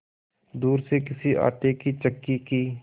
दूर से किसी आटे की चक्की की